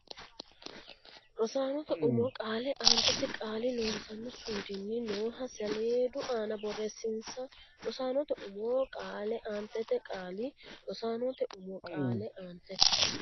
Rosaanote umo qaale aantete qaali Loossinanni suudunni nooha saleedu aana boreessinsa Rosaanote umo qaale aantete qaali Rosaanote umo qaale aantete.